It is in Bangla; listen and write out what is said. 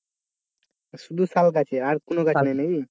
শুধু শালগাছ ই আর কোন গাছ নেই নাকি?